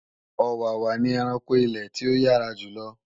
Ọ̀wàwà ni ẹranko ilè tí ó yára jùlo